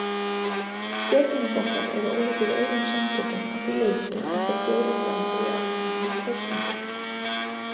Stjórnmálaflokkar eru ólíkir öðrum samtökum að því leyti að þeir bjóða fram í almennum kosningum.